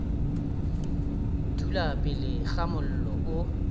dula pele ga mollo o